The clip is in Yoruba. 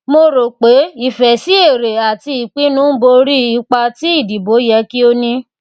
mo rò pé ìfẹ sí èrè àti ìpínú ń bò órí ìpà tí ìdìbò yẹ kí ó ní